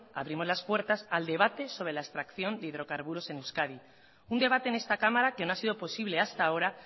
abrimos las puertas al debate sobre la extracción de hidrocarburos en euskadi un debate en esta cámara que no ha sido posible hasta ahora